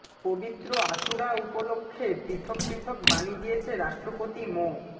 পবিত্র আশুরা উপলক্ষে পৃথক পৃথক বাণী দিয়েছে রাষ্ট্রপতি মো